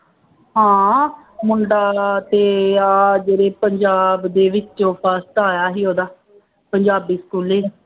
ਹਾਂ ਮੁੰਡਾ ਨਾ ਅਤੇ ਆਹ ਜਿਹੜੇ ਪੰਜਾਬ ਦੇ ਵਿੱਚੋਂ first ਆਇਆ ਸੀ ਉਹਦਾ, ਪੰਜਾਬੀ ਸਕੂਲੇ ਹੀ,